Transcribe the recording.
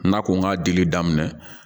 N'a ko n k'a dili daminɛ